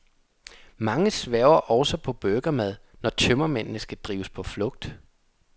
Mange sværger også til burgermad, når tømmermændene skal drives på flugt.